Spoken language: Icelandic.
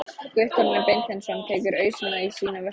Guttormur Beinteinsson tekur ausuna í sína vörslu.